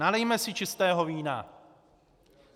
Nalijme si čistého vína.